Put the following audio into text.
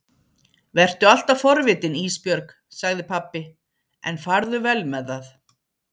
Vertu alltaf forvitin Ísbjörg, sagði pabbi, en farðu vel með það.